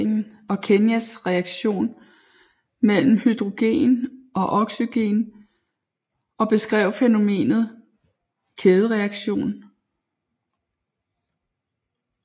Sammen med Harold Warris Thompson forskede han i de eksplosive reaktion mellem hydrogen og oxygen og beskrev fænomenet kædereaktion